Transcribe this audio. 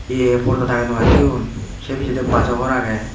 ye porda tange tungan toyonse picchede bajo gor age.